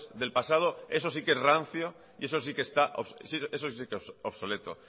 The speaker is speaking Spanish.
del pasado eso sí que es rancio y eso sí que es obsoleto